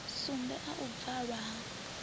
sumbe a u bvalwa ha